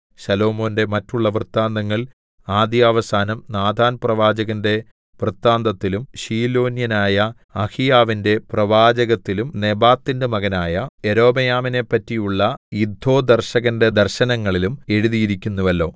ശലോമോന്റെ മറ്റുള്ള വൃത്താന്തങ്ങൾ ആദ്യാവസാനം നാഥാൻപ്രവാചകന്റെ വൃത്താന്തത്തിലും ശീലോന്യനായ അഹീയാവിന്റെ പ്രവാചകത്തിലും നെബാത്തിന്റെ മകനായ യൊരോബെയാമിനെപ്പറ്റിയുള്ള ഇദ്ദോദർശകന്റെ ദർശനങ്ങളിലും എഴുതിയിരിക്കുന്നുവല്ലോ